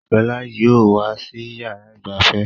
Shola yìí ó wà sì yára ìgbafẹ́.